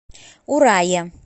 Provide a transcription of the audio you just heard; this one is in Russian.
урае